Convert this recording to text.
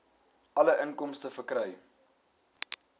alle inkomste verkry